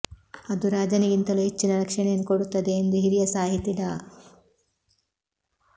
ಅದು ರಾಜನಿಗಿಂತಲೂ ಹೆಚ್ಚಿನ ರಕ್ಷಣೆಯನ್ನು ಕೊಡುತ್ತದೆ ಎಂದು ಹಿರಿಯ ಸಾಹಿತಿ ಡಾ